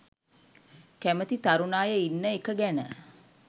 කැමති තරුණ අය ඉන්න එක ගැන.